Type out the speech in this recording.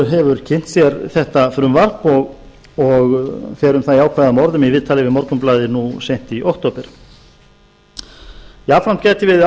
hefur kynnt sér þetta frumvarp og fer um það jákvæðum orðum í viðtali við morgunblaðið nú seint í október jafnframt gæti verið